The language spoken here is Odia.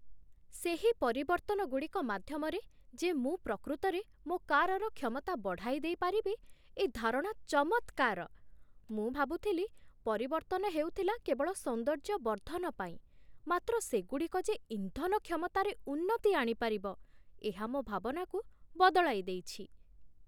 ସେହି ପରିବର୍ତ୍ତନଗୁଡ଼ିକ ମାଧ୍ୟମରେ ଯେ ମୁଁ ପ୍ରକୃତରେ ମୋ କାରର କ୍ଷମତା ବଢ଼ାଇଦେଇ ପାରିବି, ଏ ଧାରଣା ଚମତ୍କାର। ମୁଁ ଭାବୁଥିଲି ପରିବର୍ତ୍ତନ ହେଉଥିଲା କେବଳ ସୌନ୍ଦର୍ଯ୍ୟ ବର୍ଦ୍ଧନ ପାଇଁ, ମାତ୍ର ସେଗୁଡ଼ିକ ଯେ ଇନ୍ଧନ କ୍ଷମତାରେ ଉନ୍ନତି ଆଣିପାରିବ, ଏହା ମୋ ଭାବନାକୁ ବଦଳାଇଦେଇଛି ।